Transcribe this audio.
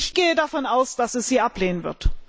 Ich gehe davon aus, dass es sie ablehnen wird.